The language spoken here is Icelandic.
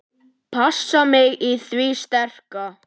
Passa mig á því sterka.